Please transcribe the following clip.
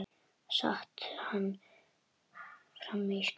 Sat hann frammi í skála.